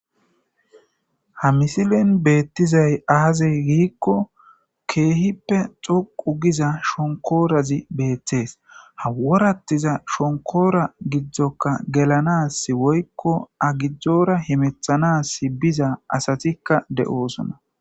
ha misilen beettizay aazey giikko keehippe xoqu giza shonkoorazi beettees haworattiza shonkoora giddzokka gelanas woykko agijora hemethanas biza asatikka de7oosona